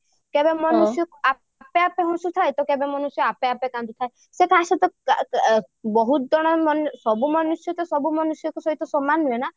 କେବେ ମନୁଷ୍ୟ ଆପେ ଆପେ ହସୁ ଥାଏ କେବେ ମନୁଷ୍ୟ ଆପେ ଆପେ କାନ୍ଦୁ ଥାଏ ସେ କାହା ସହିତ ବହୁତ ଜଣ ମନୁଷ୍ୟ ସବୁ ମନୁଷ୍ୟ ତ ସବୁ ମନୁଷ୍ୟ ସହ ସମାନ ନୁହେଁ ନା